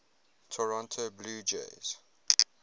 toronto blue jays